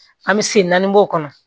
An bɛ sen naani bɔ o kɔnɔ